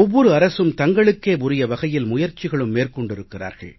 ஒவ்வொரு அரசும் தங்களுக்கே உரிய வகையில் முயற்சிகளும் மேற்கொண்டிருக்கிறார்கள்